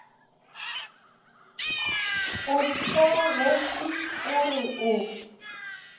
o theogetše o re o